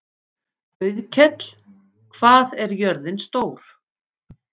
Auðkell, hvað er jörðin stór?